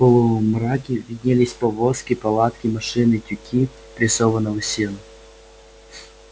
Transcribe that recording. в полумраке виднелись повозки палатки машины тюки прессованного сена